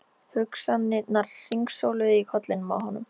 Hugsanirnar hringsóluðu í kollinum á honum.